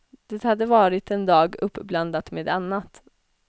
Det hade varit en dag uppblandad med annat.